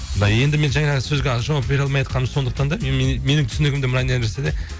мына енді мен жаңағы сөзге жауап бере алмайатқаным сондықтан да менің түсінігімде мынандай нәрсе де